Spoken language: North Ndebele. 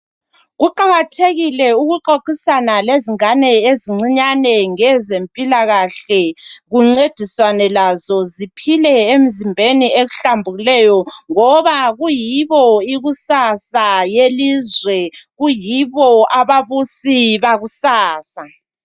Kuqakathekile ukuxoxisana lezingane ezincinyane ngezempilakahle, kuncediswane lazo ziphile emzimbeni ehlambulukuleyo ngoba kuyibo ikusasa yelizwe, kuyibo ababusi bakusasa.